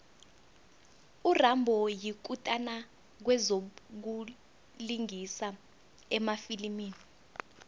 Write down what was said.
urambo yikutani kwezokulingisa emafilimini